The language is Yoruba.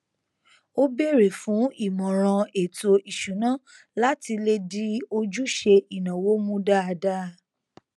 ó bèrè fún ìmọràn ètò ìṣúná láti lè di ojúṣe ìnáwó mú dáadáa